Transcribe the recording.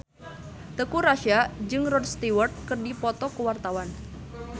Teuku Rassya jeung Rod Stewart keur dipoto ku wartawan